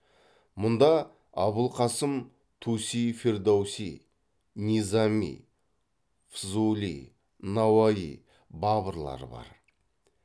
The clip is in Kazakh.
мұнда абулқасым туси фердауси низами фзули науаи бабырлар бар